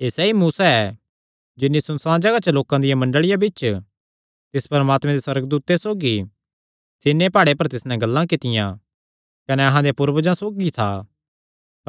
एह़ सैई मूसा ऐ जिन्नी सुनसाण जगाह च लोकां दिया मंडल़िया बिच्च तिस परमात्मे दे सुअर्गदूते सौगी सीनै प्हाड़े पर तिस नैं गल्लां कित्तियां कने अहां देयां पूर्वजां सौगी था